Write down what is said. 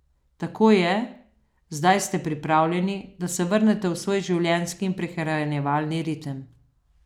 Tako je, zdaj ste pripravljeni, da se vrnete v svoj življenjski in prehranjevalni ritem.